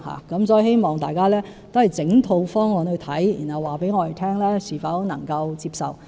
因此，我希望大家審視整套方案，然後告訴我們是否能夠接受。